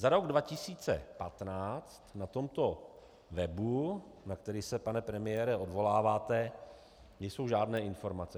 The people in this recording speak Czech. Za rok 2015 na tomto webu, na který se, pane premiére, odvoláváte, nejsou žádné informace.